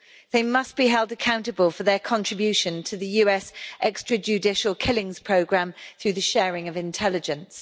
They must be held accountable for their contribution to the US extra judicial killings programme through the sharing of intelligence.